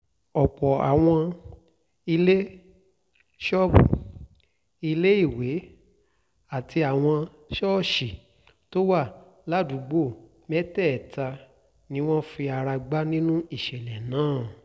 ọ̀pọ̀ àwọn ilé ṣọ́ọ̀bù ilé-ìwé àtàwọn ṣọ́ọ̀ṣì tó wà ládùúgbò mẹ́tẹ̀ẹ̀ta ni wọ́n fara gbá nínú ìṣẹ̀lẹ̀ náà